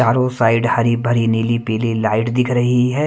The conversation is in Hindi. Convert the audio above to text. चारों साइड हरी भरी नीली पीली लाइट दिख रही है ।